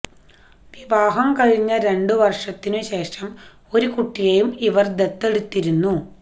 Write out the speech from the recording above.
വിവാഹം കഴിഞ്ഞ രണ്ട് വര്ഷത്തിനു ശേഷം ഒരു കുട്ടിയേയും ഇവര് ദത്തെടുത്തിരുന്നു